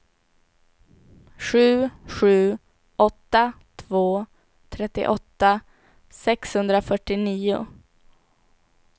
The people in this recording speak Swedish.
sju sju åtta två trettioåtta sexhundrafyrtionio